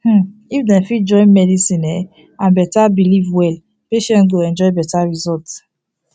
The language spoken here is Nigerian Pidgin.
hmm if dem fit join medicine um and belief well patients go enjoy better result